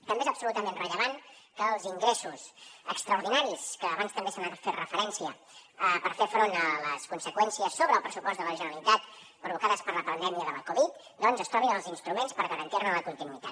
també és absolutament rellevant que als ingressos extraordinaris que abans també se hi ha fet referència per fer front a les conseqüències sobre el pressupost de la generalitat provocades per la pandèmia de la covid es trobin els instruments per garantir ne la continuïtat